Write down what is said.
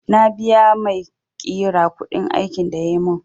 Na biya maiƙira kuɗin aikin da yayi mun